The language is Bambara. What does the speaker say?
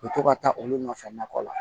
U bɛ to ka taa olu nɔfɛ nakɔ la